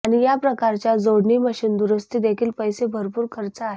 आणि या प्रकारच्या जोडणी मशीन दुरुस्ती देखील पैसे भरपूर खर्च आहे